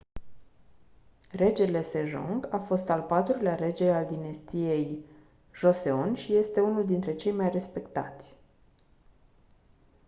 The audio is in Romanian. regele sejong a fost al patrulea rege al dinastiei joseon și este unul dintre cei mai respectați